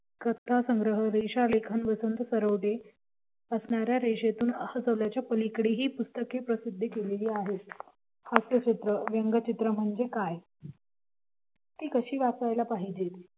कथासंग्रह रेषालेखन वसंत सरोदे असणाऱ्या रेषेतून च्या पलीकडेही पुस्तके प्रसिद्ध केलेली आहेत हास्यचित्र व्यंगचित्र म्हणजे काय ते कशी वाचायला पाहिजे